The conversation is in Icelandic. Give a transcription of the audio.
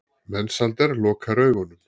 Mensalder lokar augunum.